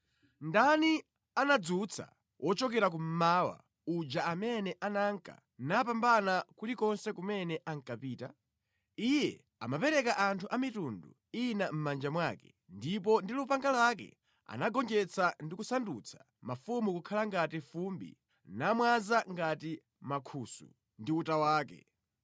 “Ndani anadzutsa wochokera kummawa uja amene ananka napambana kulikonse kumene ankapita? Iye amapereka anthu a mitundu ina mʼmanja mwake ndipo ndi lupanga lake anagonjetsa ndi kusandutsa mafumu kukhala ngati fumbi nawamwaza ngati mankhusu ndi uta wake.